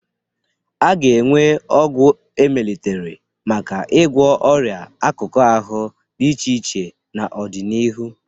A ga-enwe ọgwụ e melitere maka ịgwọ ọria akụkụ ahụ dị iche iche n'ọdịnihu.